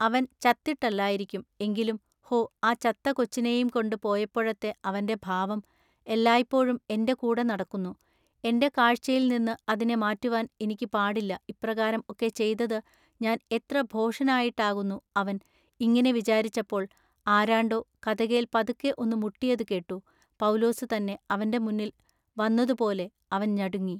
അവൻ ചത്തിട്ടല്ലായിരിക്കും. എങ്കിലും ഹൊ ആ ചത്ത കൊച്ചിനെയും കൊണ്ടു പോയപ്പോഴത്തെ അവന്റെ ഭാവം എല്ലായ്പോഴും എന്റെ കൂടെ നടക്കുന്നു, എന്റെ കാഴ്ചയിൽനിന്നു അതിനെ മാററുവാൻ ഇനിക്ക് പാടില്ല ഇപ്രകാരം ഒക്കെ ചെയ്തതു ഞാൻ എത്ര ഭോഷനായിട്ടാകുന്നു അവൻ ഇങ്ങിനെ വിചാരിച്ചപ്പോൾ ആരാണ്ടൊ കതകേൽ പതുക്കെ ഒന്നു മുട്ടിയതു കെട്ടു പൌലുസു തന്നെ അവന്റെ മുന്നിൽ വന്നതുപോലെ അവൻ ഞടുങ്ങി.